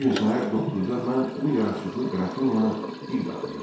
Bu gün səhər 9-da mən bu yaraşıqlı qrafinyanı bir daha gördüm.